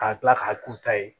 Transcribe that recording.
K'a kila k'a k'u ta ye